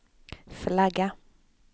flagga